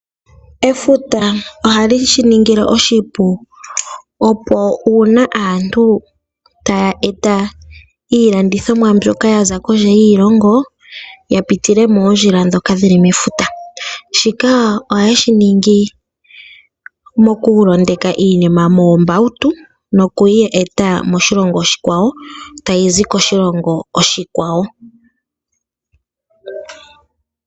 Efuta ohali shiningile oshipu opo una aantu taya eta iilandithomwa mbyoka yaza kondje yiilongo yapitile moondjila dhoka dhili mefuta. Shika ohaye shiningi moku londeka iinima moombautu nokuyi eta moshilongo oshikwawo tayi zi koshilongo oshikwawo.